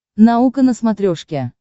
наука на смотрешке